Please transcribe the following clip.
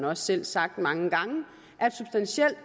også selv sagt mange gange